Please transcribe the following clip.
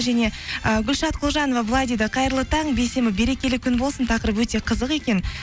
және і гүлшат құлжанова былай дейді қайырлы таң бейсенбі берекелі күн болсын тақырып өте қызық екен